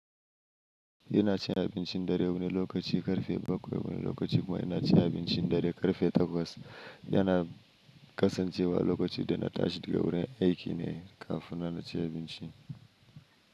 Ina cin abincin dare wani lokaci, karfe bakwai wani lokaci kuma ina cin abinci dare karfe takwas. Yana kasancewa lokaci da na tashi daga wurin aiki ne, kafin na ci abinci.